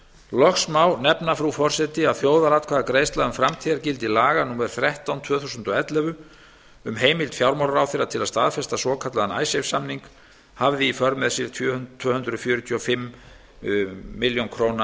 loks má nefna frú forseti að þjóðaratkvæðagreiðsla um framtíðargildi laga númer þrettán tvö þúsund og ellefu um heimild fjármálaráðherra til að staðfesta svokallaðan icesave samning hafði í för með sér tvö hundruð fjörutíu og fimm milljónir króna